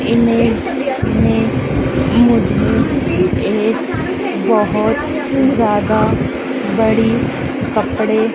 image में मुझे एक बहोत ज़्यादा बड़ी कपड़े --